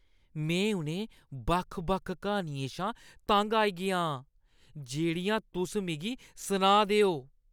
में उ'नें बक्ख-बक्ख क्हानियें शा तंग आई गेआ आं जेह्ड़ियां तुस मिगी सनाऽ दे ओ।